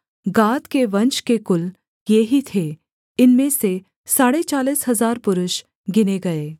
गाद के वंश के कुल ये ही थे इनमें से साढ़े चालीस हजार पुरुष गिने गए